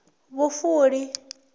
vhufuli